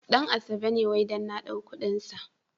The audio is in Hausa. Ɗan asabe ne wai dan na ɗau kuɗin sa.